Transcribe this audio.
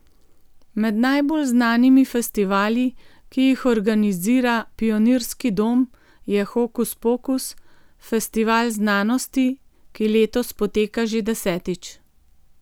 Med najbolj znanimi festivali, ki jih organizira Pionirski dom, je Hokus Pokus, festival znanosti, ki letos poteka že desetič.